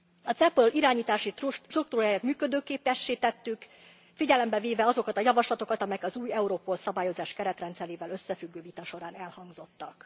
A CEPOL irányítási struktúráját működőképessé tettük, figyelembe véve azokat a javaslatokat, amelyek az új Europol Szabályozás keretrendszerével összefüggő vita során elhangzottak.